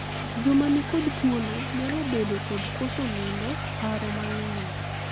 joma nikod tuono nyalo bedo kod koso nindo, paro mang'eny